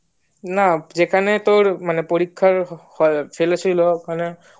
না যেখানে তার মানে পরীক্ষা ফেলেছিলো